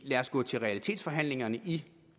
lad os gå til realitetsforhandlinger i